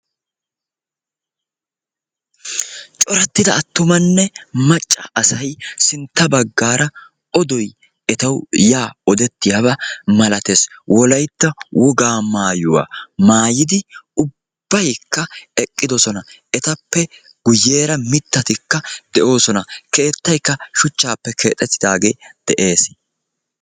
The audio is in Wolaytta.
corattida atumanne macca asay odoy yaa etassi odettiyaaba malatees. wolaytta wogaa maayuwa maayidi ubaykka eqidosona. etappe guyeera mitatikka de'oosona.